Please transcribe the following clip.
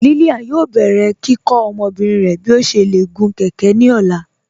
Lílíán yóò bẹ̀rẹ̀ kíkọ́ ọmọbìrín rẹ̀ bí ó ṣé lè gún kẹ̀kẹ̀ ní ọ̀la.